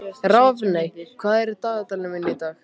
Rafney, hvað er á dagatalinu mínu í dag?